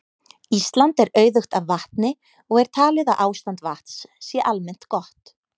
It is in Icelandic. Ísland er auðugt af vatni og er talið að ástand vatns sé almennt gott.